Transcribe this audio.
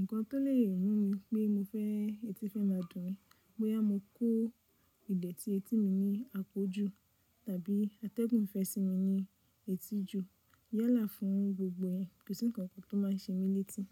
Ǹkan tó lè mú mi pé mo fẹ́ etí fẹ́ má a dùn mí. Bóyá mo kó ìdẹ̀tí etí mi ní àpọ̀jù tàbí atẹ́gùn ìfẹ́ sí i ní etí jù yálà fún gbogbo yen. Kò sí ǹkankan tó máa ń ṣe mí létí.